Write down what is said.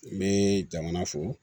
N bɛ jamana fo